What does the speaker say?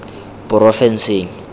porofenseng